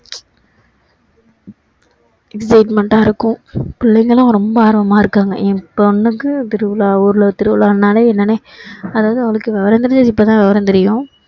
entertainment டா இருக்கும் பிள்ளைங்களும் ரொம்ப ஆர்வமா இருக்காங்க என் பொண்ணுக்கு திருவிழா ஊருல திருவிழானாலே என்னன்னே அதாவது அவளுக்கு விவரம் தெரஞ்சது இப்போதான் விவரம் தெரியும்